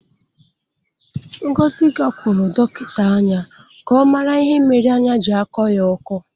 Ngozi gakwuru dọkịta anya ka ọ mara ihe mere anya ji akọ ya ọkọ.